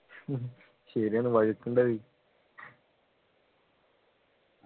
ശരിയാണ് വഴുക്ക് ഉണ്ടായി